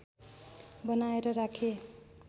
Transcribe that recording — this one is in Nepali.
बनाएर राखे